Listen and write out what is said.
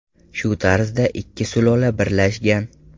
Shu tarzda ikki sulola birlashgan.